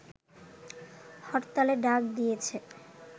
হরতালের ডাক দিয়েছে